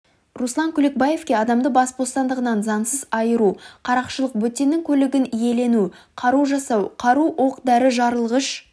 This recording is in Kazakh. руслан күлекбаевке адамды бас бостандығынан заңсыз айыру қарақшылық бөтеннің көлігін иелену қару жасау қару оқ-дәрі жарылғыш